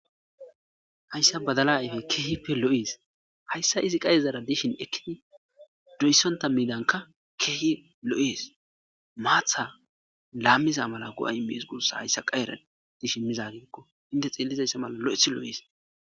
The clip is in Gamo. hayssa badala ayfe keehipe lo7ees hayssa izi qayezara dishin ekkidi doyssonta milanka keehi lo7ees maatha laammiza mala go7a imees gussa hayssa qayera dishin mizagikko inte xeellizayssa mala lo7eth lo7ees